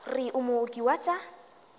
re o mooki wa tša